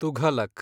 Tughlaq